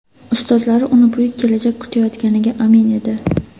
Ustozlari uni buyuk kelajak kutayotganiga amin edi.